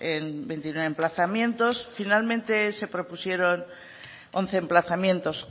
en veintinueve emplazamientos finalmente se propusieron once emplazamientos